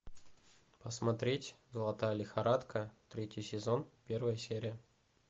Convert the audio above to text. посмотреть золотая лихорадка третий сезон первая серия